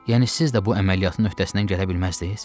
Yəni siz də bu əməliyyatın öhdəsindən gələ bilməzdiniz?